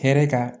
Hɛrɛ kan